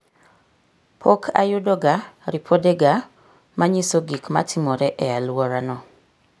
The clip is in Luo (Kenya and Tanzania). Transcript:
Pok ayudoga ripodega ma nyiso gik matimore e alworano.